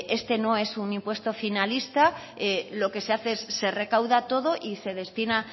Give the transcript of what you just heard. este no es un impuesto finalista lo que se hace es se recauda todo y se destina